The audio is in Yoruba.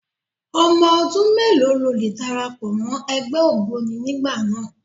Ọmọ ọdún mélòó ló lè darapọ̀ mọ́ ẹgbẹ́ ògboni nígbà náà?